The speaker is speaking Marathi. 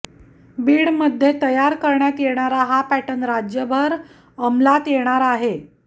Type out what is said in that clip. बीडमध्ये तयार करण्यात येणारा हा पॅटर्न राज्यभर अंमलात येणार आहे